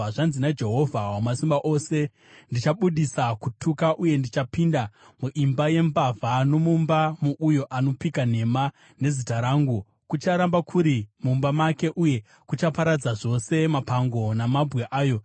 Zvanzi naJehovha Wamasimba Ose, ‘Ndichabudisa kutuka, uye kuchapinda muimba yembavha nomumba mouyo anopika nhema nezita rangu. Kucharamba kuri mumba make uye kuchaparadza zvose mapango namabwe ayo.’ ”